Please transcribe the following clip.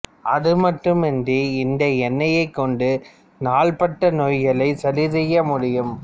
அதுமட்டுமின்றி இந்த எண்ணெய் கொடண்டு நாள்பட்ட நோய்களை சரிசெய்ய முடியும்